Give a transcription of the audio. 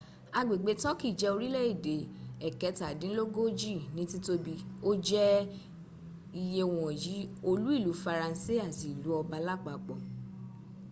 agbẹ̀gbẹ̀ turkey jẹ́ orílé-èdè ẹ̀kẹtàdínlógójí ní tìtòbi o jẹ iyẹ ìwọ̀n olú ílu faransé àti ílu ọba lápapò